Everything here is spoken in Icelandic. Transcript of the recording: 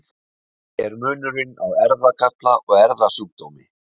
Hver er munurinn á erfðagalla og erfðasjúkdómi?